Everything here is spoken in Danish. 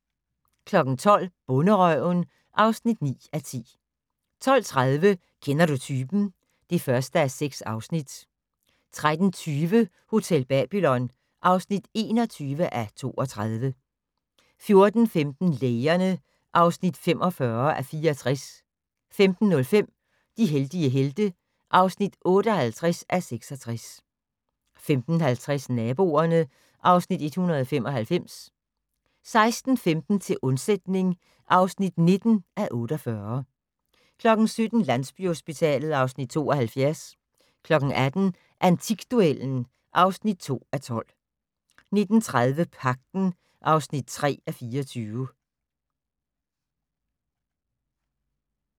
12:00: Bonderøven (9:10) 12:30: Kender du typen? (1:6) 13:20: Hotel Babylon (21:32) 14:15: Lægerne (45:64) 15:05: De heldige helte (58:66) 15:50: Naboerne (Afs. 195) 16:15: Til undsætning (19:48) 17:00: Landsbyhospitalet (Afs. 72) 18:00: Antikduellen (2:12) 19:30: Pagten (3:24)